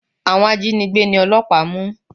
Àwọn ajínigbé ni ọlọ́pàá mú.